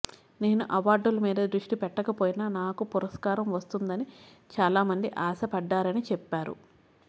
నేను అవార్డుల మీద దృష్టి పెట్టకపోయినా నాకు పురస్కారం వస్తుందని చాలా మంది ఆశపడ్డారని చెప్పారు